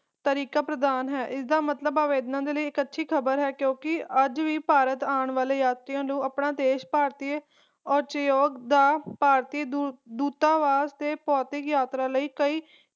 ਤਰੀਕਾ ਪ੍ਰਦਾਨ ਹੈ ਇਸ ਦਾ ਮਤਲਬ ਆਵਦੇਨਾ ਦੇ ਲਈ ਇਕ ਅੱਛੀ ਖਬਰ ਹੈ ਕਿਉਕਿ ਅੱਜ ਵੀ ਭਾਰਤ ਆਂ ਵਾਲੇ ਯਾਤਰੀਆਂ ਨੂੰ ਆਪਣਾ ਦੇਸ਼ ਭਾਰਤੀ ਅਤੇ ਦਾ ਭਾਰਤੀ ਢੋਟਾਵਸ ਤੇ ਪੌਤੀਕ ਯਾਤਰਾ ਲਈ